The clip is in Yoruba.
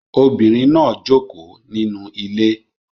Obinrin naa joko ninu ile